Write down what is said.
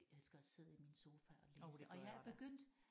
Elsker at sidde i min sofa og læse og jeg er begyndt